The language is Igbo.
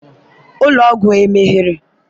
ụlọ ọgwụ emeghere?